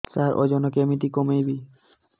ସାର ଓଜନ କେମିତି କମେଇବି